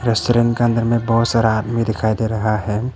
Restaurant के अंदर में बहुत सारा आदमी दिखाई दे रहा है।